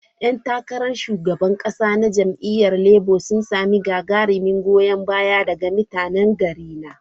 Yan takarar shugaban kasa na jam'iyyar Labour sun samu gagarumin goyon baya daga mutanen garina.